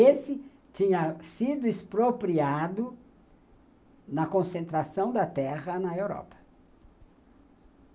Esse tinha sido expropriado na concentração da terra na Europa.